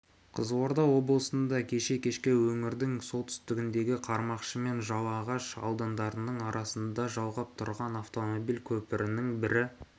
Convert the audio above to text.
қызылорда облысында кеше кешке өңірдің солтүстігіндегі қармақшы мен жалағаш аудандарының арасын жалғап тұрған автомобиль көпірінің бір